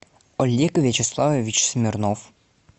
олег вячеславович смирнов